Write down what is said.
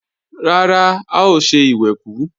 Rárá, a ò ṣe ìwẹ̀kú